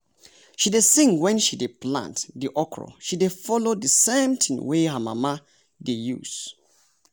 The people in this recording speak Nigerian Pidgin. she dey sing wen she dey plant the okra she dey follow the same tin wey her mama dey use.